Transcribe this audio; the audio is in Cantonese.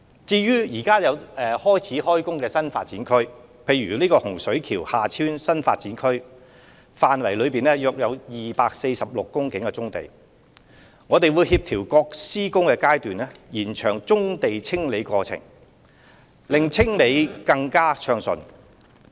至於現已開展的新發展區工程，例如洪水橋/廈村新發展區範圍內約有246公頃棕地，我們會協調各施工階段，延長棕地清理過程，令清理工作更加暢順。